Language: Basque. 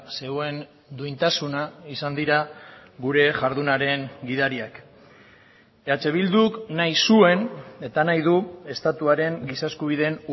zeuen duintasuna izan dira gure jardunaren gidariak eh bilduk nahi zuen eta nahi du estatuaren giza eskubideen